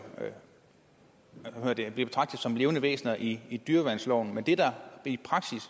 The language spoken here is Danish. bliver betragtet som levende væsener i i dyreværnsloven men det der